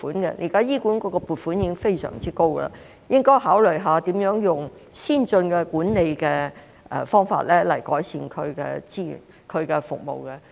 現時醫管局的撥款已經非常高，應該考慮一下如何以先進的管理方法改善資源及服務。